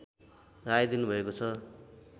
राय दिनुभएको छ